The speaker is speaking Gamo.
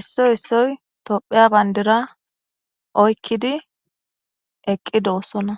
issoy issoy tophiya bayndira oykkidi eqqidossona.